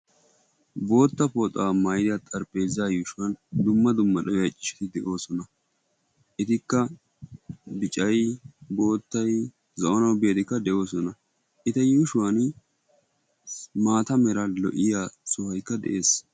bootta poxaa maida xarppeeza yuushuwan dumma dumma da7i accishshati de7oosona etikka bicai boottai za7onau beetikka de7oosona eta yuushuwan maata mera lo77iya sohaikka de7ees.